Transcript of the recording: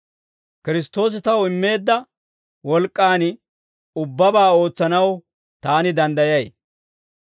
Kiristtoosi taw immeedda wolk'k'an, ubbabaa ootsanaw taani danddayay.